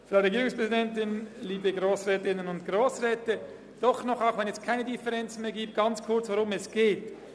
Auch wenn es keine Differenzen mehr gibt, möchte ich doch noch kurz sagen, worum es geht: